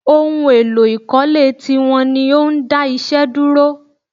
Ohun èlò ìkọ́lé ti wọ́n ní ó ń dá iṣẹ́ dúró